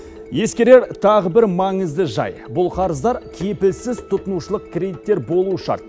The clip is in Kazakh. ескерер тағы бір маңызды жайт қарыздар кепілсіз тұтынушылық кредиттер болуы шарт